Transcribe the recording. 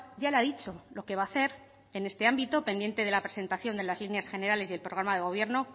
ya le ha dicho lo que va a hacer en este ámbito pendiente de la presentación de las líneas generales y el programa de gobierno